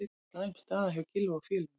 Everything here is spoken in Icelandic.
Slæm staða hjá Gylfa og félögum